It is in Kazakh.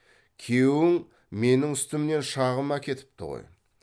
күйеуің менің үстімнен шағым әкетіпті ғой